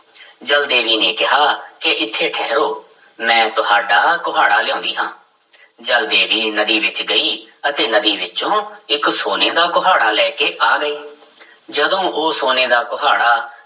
ਜਲ ਦੇਵੀ ਨੇ ਕਿਹਾ ਕਿ ਇੱਥੇ ਠਹਿਰੋ ਮੈਂ ਤੁਹਾਡਾ ਕੁਹਾੜਾ ਲਿਆਉਂਦੀ ਹਾਂ ਜਲ ਦੇਵੀ ਨਦੀ ਵਿੱਚ ਗਈ ਅਤੇ ਨਦੀ ਵਿੱਚੋਂ ਇੱਕ ਸੋਨੇ ਦਾ ਕੁਹਾੜਾ ਲੈ ਕੇ ਆ ਗਈ ਜਦੋਂ ਉਹ ਸੋਨੇ ਦਾ ਕੁਹਾੜਾ